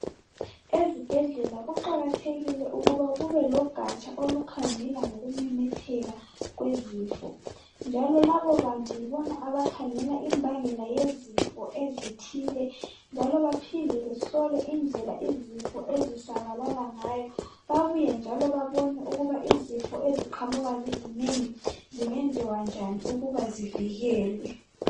Ezibhedlela kuqakathekile ukuthi kubelogatsha olukhangela ngokumemetheka kwezifo, njalo labo bantu yibo abakhangela imbamgela yezifo ezithile baphinde bakhangele ukuphasalala lezifo eziqhamuka zizinengi babuye balungisise.